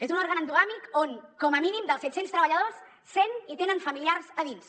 és un òrgan endogàmic on com a mínim dels set cents treballadors cent hi tenen familiars a dins